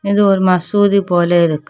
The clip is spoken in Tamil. இது ஒரு மசூதி போல இருக்கு.